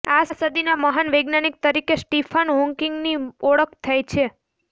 આ સદીના મહાન વૈજ્ઞાનિક તરીકે સ્ટીફન હોકિંગની ઓળખ થાય છે